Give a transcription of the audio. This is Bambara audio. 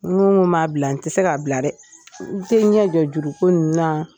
N ko n b'a bila n tɛ se k'a bila dɛ n tɛ n ɲɛ jɔ juruko ninnu na